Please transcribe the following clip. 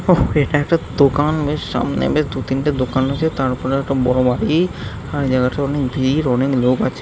ওহঃ এটা একটা দোকান বেশ সামনে বেশ দুতিনটা দোকান হয়েছে তার ওপরে একটা বড় বাড়ি - ই আর এ জাগাটা অনেক ভিড় অনেক লোক আছে ।